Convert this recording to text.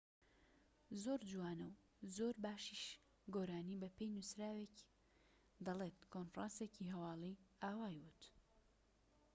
"زۆر جوانە و زۆر باشیش گۆرانی دەڵێت، ‎بە پێی نووسراوێکی کۆنفرانسێکی هەواڵی ئاوای ووت